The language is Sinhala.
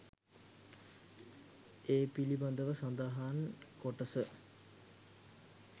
ඒ පිළිබඳව සඳහන් කොටස